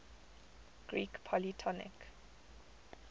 greek polytonic